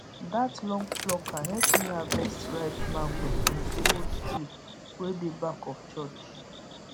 that long plucker help me harvest ripe mango from the old tree wey dey back of church